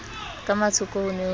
ka mathoko ho ne ho